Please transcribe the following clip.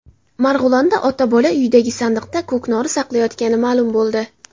Marg‘ilonda ota-bola uydagi sandiqda ko‘knori saqlayotgani ma’lum bo‘ldi.